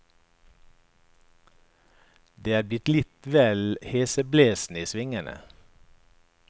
Det blir litt vel heseblesende i svingene.